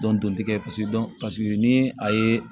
Dɔn dɔn tɛ kɛ paseke dɔn paseke ni a ye